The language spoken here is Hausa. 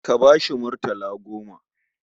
Ka ba shi murtala goma.